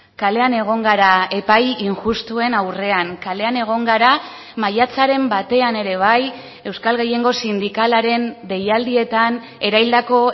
kalean egon gara epai injustuen aurrean kalean egon gara maiatzaren batean ere bai euskal gehiengo sindikalaren deialdietan erahildako